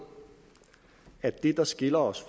at det der skiller os